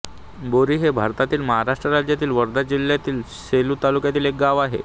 बोरी हे भारतातील महाराष्ट्र राज्यातील वर्धा जिल्ह्यातील सेलू तालुक्यातील एक गाव आहे